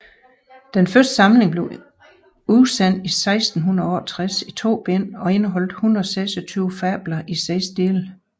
Den første samling blev udsendt i 1668 i to bind og indeholdt 126 fabler i seks dele